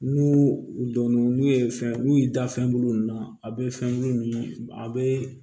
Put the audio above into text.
N'u u dɔnn'u n'u ye fɛn n'u y'i da fɛnbulu ninnu na a bɛ fɛn ninnu a bɛ